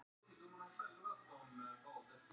Allir strákarnir í Víkingi gera þetta auðvelt fyrir mig.